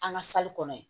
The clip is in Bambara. An ka kɔnɔ yen